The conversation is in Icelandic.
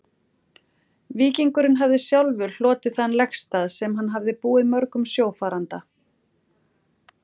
Víkingurinn hafði sjálfur hlotið þann legstað, sem hann hafði búið mörgum sjófaranda.